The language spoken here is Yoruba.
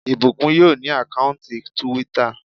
Ìbùkún yóò ní àkáùntì túwítà